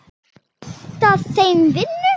Vantaði þeim vinnu?